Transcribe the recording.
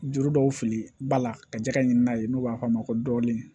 Juru dɔw fili ba la ka jɛgɛ ɲini n'a ye n'u b'a f'a ma ko dɔɔnin